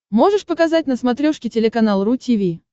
можешь показать на смотрешке телеканал ру ти ви